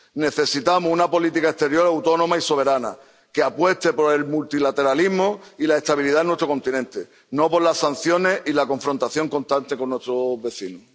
Necesitamos una política exterior autónoma y soberana que apueste por el multilateralismo y la estabilidad en nuestro continente, no por las sanciones y la confrontación constante con nuestros vecinos.